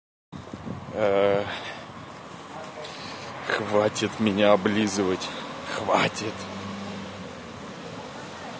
хватит меня облизывать хватит